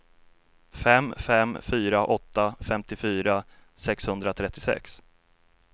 fem fem fyra åtta femtiofyra sexhundratrettiosex